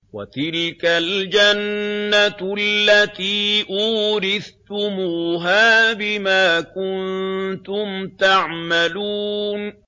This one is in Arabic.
وَتِلْكَ الْجَنَّةُ الَّتِي أُورِثْتُمُوهَا بِمَا كُنتُمْ تَعْمَلُونَ